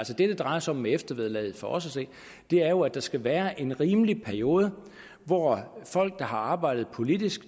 det drejer sig om med eftervederlaget for os at se er jo at der skal være en rimelig periode hvor folk der har arbejdet politisk